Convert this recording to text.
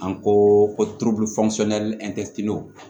An ko ko